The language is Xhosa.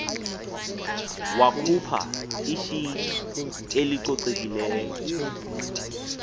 wakhupha ishiti elicocekileyo